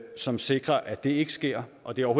som sikrer at det ikke sker og det